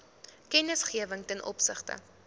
kennisgewing ten opsigte